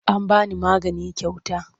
An ba ni magani kyauta.